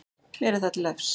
Mér er það til efs.